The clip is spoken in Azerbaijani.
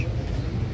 Qaçma.